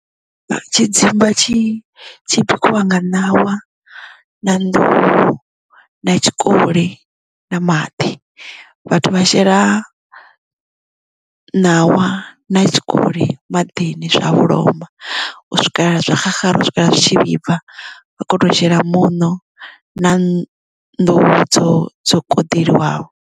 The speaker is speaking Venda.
Tshidzimba tshi tshibikiwa nga ṋawa na nḓuhu na tshikoli na maḓi vhathu vha shela ṋawa na tshikoli maḓini zwa vholoma u swikelela zwa xaxara u swikela zwi tshi vhibva vha khono shela muṋo na nḓuhu dzo dzo koḓeliwaho.